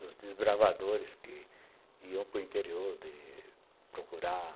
Dos desbravadores que iam para interior de procurar...